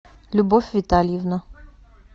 любовь витальевна